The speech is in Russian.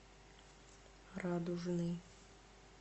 радужный